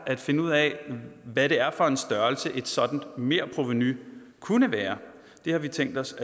at finde ud af hvad det er for en størrelse et sådant merprovenu kunne være det har vi tænkt os